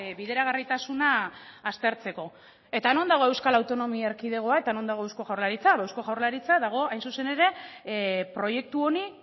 bideragarritasuna aztertzeko eta non dago euskal autonomia erkidegoa eta non dago eusko jaurlaritza eusko jaurlaritza dago hain zuzen ere proiektu honi